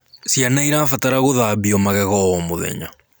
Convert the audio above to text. Ciana irabatara kugathambio magegeo o mũthenya